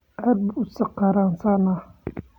Aad buu u sakhraansanaa.